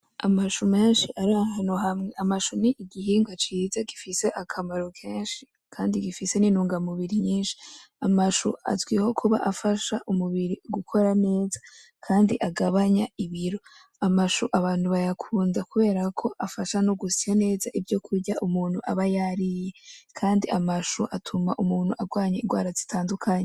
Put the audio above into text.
Amashu menshi ari ahantu hamwe, amashu n'igihungwa ciza gifise akamaro kenshi kandi gifise nintungamubiri nyinshi amashu azwiho kuba afasha umubiri gukora neza kandi agabanya ibiro, amashu abantu bayakunda kuberako afasha no gusa neza ivyokurya umuntu aba yariye kandi amashu atuma umuntu agwanya ingwa zitandukanye.